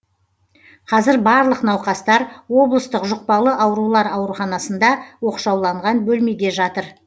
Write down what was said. қазір барлық науқастар облыстық жұқпалы аурулар ауруханасында оқшауланған бөлмеде жатыр